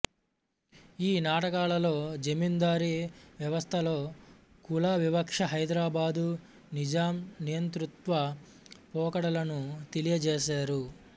ఈ నాటకాలలో జమీందారీ వ్యవస్థలో కుల వివక్ష హైదరాబాదు నిజాం నియంతృత్వ పోకడలను తెలియజేసారు